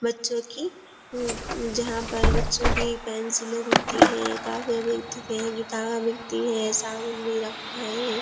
बच्चो की उ जहाँ पर बच्चो की पेंसिले बिकती हैं कॉपीयाँ बिकती हैं किताब बिकती हैं साबुन भी रखा है।